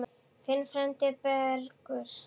Þinn frændi, Bergur.